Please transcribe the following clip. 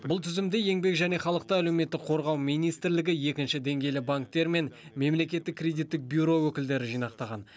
бұл тізімді еңбек және халықты әлеуметтік қорғау министрлігі екінші деңгейлі банктер мен мемлекеттік кредиттік бюро өкілдері жинақтаған